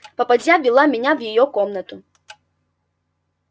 попадья ввела меня в её комнату